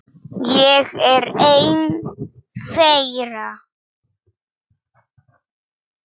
Ég er einn þeirra.